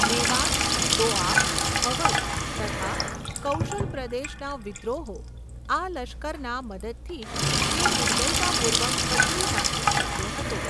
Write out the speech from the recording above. મેવાત, દોઆબ, અવધ તથા કૌશલપ્રદેશના વિદ્રોહો આ લશ્કરના મદદથી જ તે નિર્દયતાપુર્વક કચડી નાખી શક્યો હતો.